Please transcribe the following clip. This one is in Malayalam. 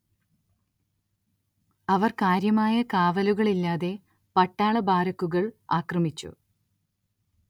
അവർ കാര്യമായ കാവലുകളില്ലാത്ത പട്ടാള ബാരക്കുകൾ ആക്രമിച്ചു.